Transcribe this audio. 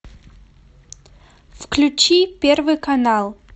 включи первый канал